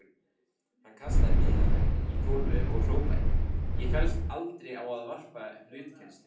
Hann kastaði miðanum í gólfið og hrópaði: Ég féllst aldrei á að varpa hlutkesti.